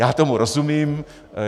Já tomu rozumím.